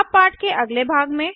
अब पाठ के अगले भाग में